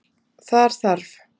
Þar þarf